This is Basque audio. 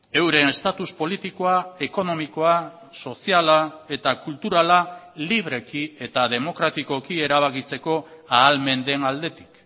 euren estatus politikoa ekonomikoa soziala eta kulturala libreki eta demokratikoki erabakitzeko ahalmen den aldetik